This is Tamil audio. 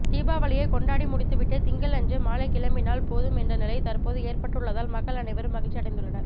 தீபாவளியை கொண்டாடி முடித்துவிட்டு திங்களன்று மாலை கிளம்பினால் போதும் என்ற நிலை தற்போது ஏற்பட்டுள்ளதால் மக்கள் அனைவரும் மகிழ்ச்சி அடைந்துள்ளனர்